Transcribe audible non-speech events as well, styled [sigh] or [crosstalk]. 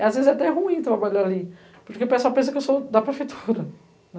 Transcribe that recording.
Às vezes é até ruim trabalhar ali, porque o pessoal pensa que eu sou da prefeitura, né. [laughs]